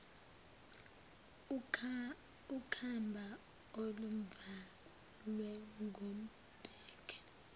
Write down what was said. ukhamba oluvalwe ngembenge